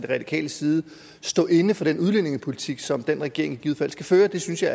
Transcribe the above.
radikal side kan stå inde for den udlændingepolitik som den regering i givet fald skal føre synes jeg